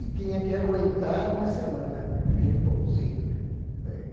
e tinha que aguentar uma semana aquele pãozinho.